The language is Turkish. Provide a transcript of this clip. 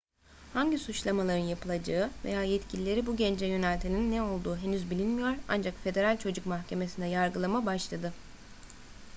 hangi suçlamaların yapılacağı veya yetkilileri bu gence yöneltenin ne olduğu henüz bilinmiyor ancak federal çocuk mahkemesinde yargılama başladı